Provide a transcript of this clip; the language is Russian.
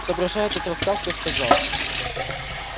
соображая этот рассказ я сказал